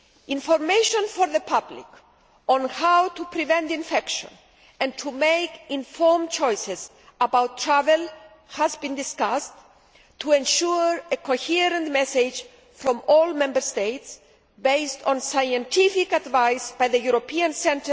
Information for the public on how to prevent infection and to make informed choices about travel has been discussed to ensure a coherent message from all Member States, based on scientific advice by the ECDC,